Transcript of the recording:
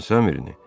Hansı əmrini?